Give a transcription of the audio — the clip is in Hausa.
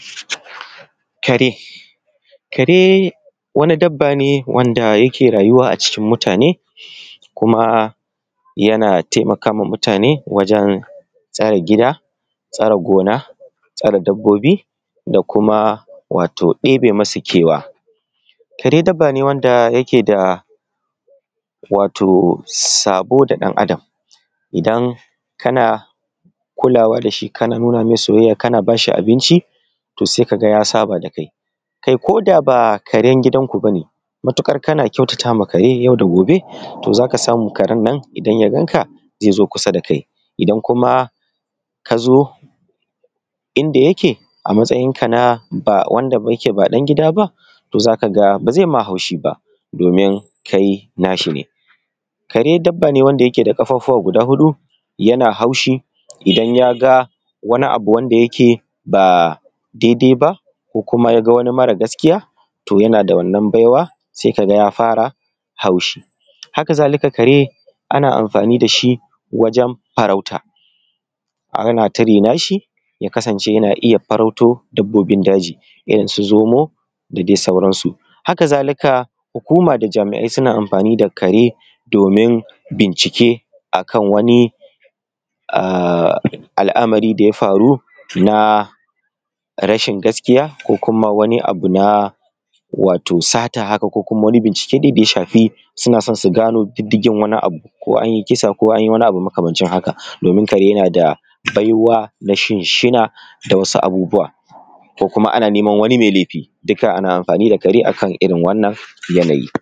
Kare, kare wani dabba ne wanda yake rayuwa a ciki mutane kuma ya taimaka wa mutane wajen tsare gida, tsare gona, tsare dabbobi da kuma ɗebe masu kewa. Kare dabba ne wanda wato yake sabi da ɗan Adam, idan kana kulawa da shi kana nuna mai soyayya kana ba shi abinci, za ka ga ya saba da kai. Kai ko da ba na gidanku ba ne matukar kama ƙyautata ma karen nan za ka ga ya zo kusa da kai. Idan ka zo inda yake a matsayinka na ba wanda yake ba dan gida ba, ba zai ma haushi ban domin kai na shi ne. Kare dabba ne wanda yake da kafafuwa guda huɗu yana hausahi idan ya ga wani abu wanda yake ba daidai bako wani mara gaskiya yana da wannan baiwa si ka ga ya fara haushi. Haka zalika, kare ana amfani da shi wajen farauta, ana turaina shi ya kasance yana iya farauto dabbobi daji irinsu zomo da dai sauransu. Haka zalika hukuma da jami'ainsuna amfani da kare domin bincike a kan wani al'amari da ya faru na rashin gaskiya ko wani abu na sata haka ko da suke son su gano diddigin wani abu. Ko an yi kisa ko wani abu makamancin haka. domin kare yana da baiwa na shinshina da wasu abubuwa ko kuma ana nema wani mai laifi, dukka ana amfani da ƙare a irin wannan yanayi.